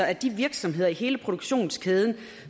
at de virksomheder i hele produktionskæden